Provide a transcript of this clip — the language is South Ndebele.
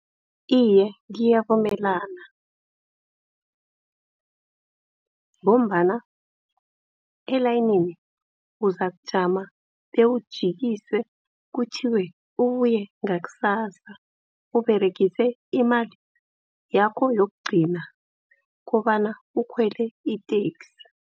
Iye ngiyavumelana ngombana elayinini uzakujama bewujikiswe kuthiwe ubuye ngakusasa. Uberegise imali yakho yokugcina kobana ukhwele iteksi.